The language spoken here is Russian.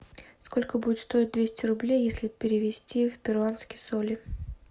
сколько будет стоить двести рублей если перевести в перуанские соли